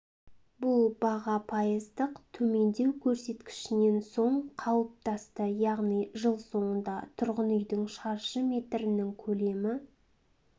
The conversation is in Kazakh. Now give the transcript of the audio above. бұл баға пайыздық төмендеу көрсеткішінен соң қалыптасты яғни жыл соңында тұрғын үйдің шаршы метрінің көлемі